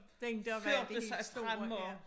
Den der var det helt store ja